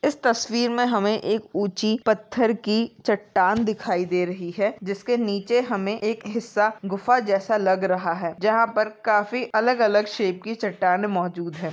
इस तस्वीर मे हमे एक उचि पथर की चट्टान दिखाई दे रही है जिसके नीचे हमे एक हिस्सा गुफा जैसा लग रहा है जहा पर काफी अलग अलग शेप की चट्टाने मौजूद है।